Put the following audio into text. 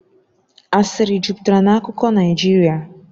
Asịrị jupụtara na akụkọ Naijiria